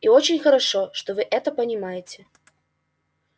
и очень хорошо что вы это понимаете